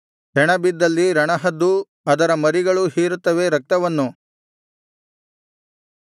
ಹೆಣಬಿದ್ದಲ್ಲಿ ರಣಹದ್ದೂ ಅದರ ಮರಿಗಳೂ ಹೀರುತ್ತವೆ ರಕ್ತವನ್ನು